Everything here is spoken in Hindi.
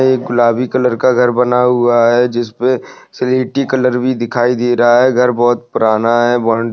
एक गुलाबी कलर का घर बना हुआ है जिस पर स्लेटी कलर भी दिखाई दे रहा है घर बहुत पुराना है।